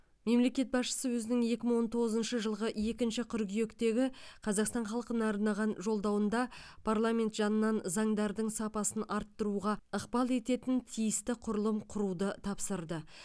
мемлекет басшысы өзінің екі мың он тоғызыншы жылғы екінші қыркүйектегі қазақстан халқына арнаған жолдауында парламент жанынан заңдардың сапасын арттыруға ықпал ететін тиісті құрылым құруды тапсырды